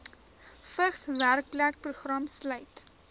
vigs werkplekprogram sluit